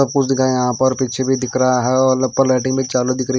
सबकुछ दिखाया यहाँ पर पीछे भीं दिख रहा हैं औल उपल लाइटिंग भीं चालू चालू दिकरी --